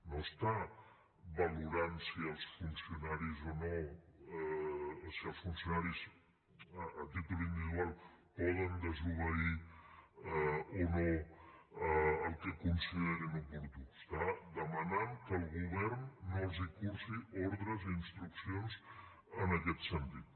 no està valorant si els funcionaris a títol individual poden desobeir o no el que considerin oportú està demanant que el govern no els cursi ordres i instruccions en aquest sentit